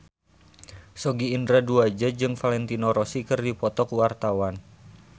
Sogi Indra Duaja jeung Valentino Rossi keur dipoto ku wartawan